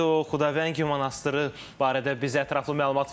O Xudavəng monastırı barədə bizə ətraflı məlumat verdi.